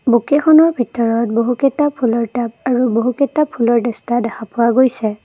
বুকেখনৰ ভিতৰত বহুকেইটা ফুলৰ টাব আৰু বহুকেইটা দেখা পোৱা গৈছে।